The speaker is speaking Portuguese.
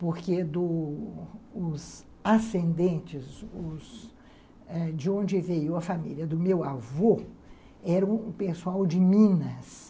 Porque do os ascendentes, os eh de onde veio a família do meu avô, eram um pessoal de Minas.